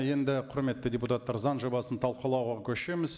енді құрметті депутаттар заң жобасын талқылауға көшеміз